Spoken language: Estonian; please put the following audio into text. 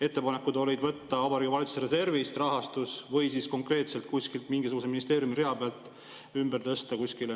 Ettepanek oli võtta Vabariigi Valitsuse reservist rahastus või siis konkreetselt kuskilt mingisuguse ministeeriumi rea pealt ümber tõsta kuskile.